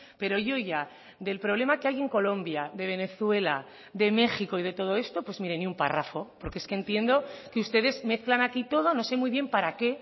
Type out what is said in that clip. pero yo ya del problema que hay en colombia de venezuela de méxico y de todo esto pues mire ni un párrafo porque es que entiendo que ustedes mezclan aquí todo no sé muy bien para qué